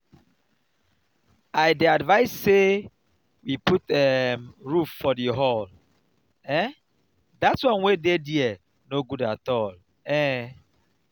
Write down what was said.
i dey advice say we put um roof for the hall um dat wan wey dey there no good at all um